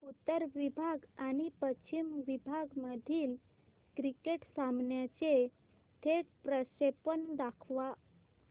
उत्तर विभाग आणि पश्चिम विभाग मधील क्रिकेट सामन्याचे थेट प्रक्षेपण दाखवा